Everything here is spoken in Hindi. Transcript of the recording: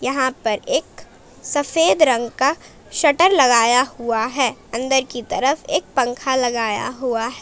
यहां पर एक सफेद रंग का शटर लगाया हुआ है अंदर की तरफ एक पंखा लगाया हुआ है।